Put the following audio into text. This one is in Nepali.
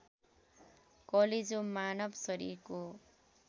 कलेजो मानव शरीरको